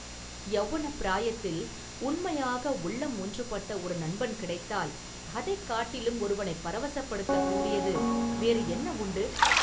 யௌவனப் பிராயத்தில் உண்மையாக உள்ளம் ஒன்றுபட்ட ஒரு நண்பன் கிடைத்தால் அதைக்காட்டிலும் ஒருவனைப் பரவசப்படுத்தக் கூடியது வேறு என்ன உண்டு?